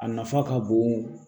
A nafa ka bon